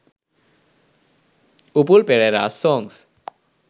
upul pereras songs